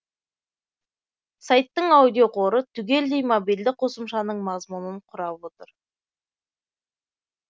сайттың аудиоқоры түгелдей мобильді қосымшаның мазмұнын құрап отыр